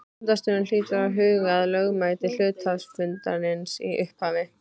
Fundarstjóri hlýtur að huga að lögmæti hluthafafundarins í upphafi.